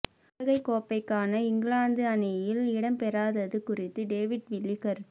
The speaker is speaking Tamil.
உலகக் கோப்பைக்கான இங்கிலாந்து அணியில் இடம்பெறாதது குறித்து டேவிட் வில்லி கருத்து